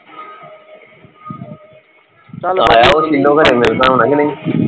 ਮਿਲਦਾ ਹੋਣੇ ਕੇ ਨਹੀਂ